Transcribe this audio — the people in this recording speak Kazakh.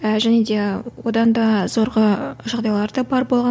і және де одан да жағдайлар да бар болған